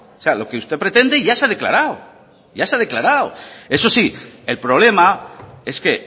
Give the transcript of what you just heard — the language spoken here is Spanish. sea lo que usted pretende ya se ha declarado ya se ha declarado eso sí el problema es que